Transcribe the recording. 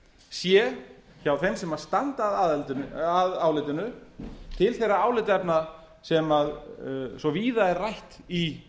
sé hjá þeim sem standa að álitinu til þeirra álitaefna sem svo víða er rætt í